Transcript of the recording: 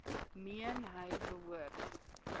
meen hy behoort